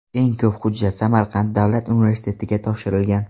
Eng ko‘p hujjat Samarqand davlat universitetiga topshirilgan.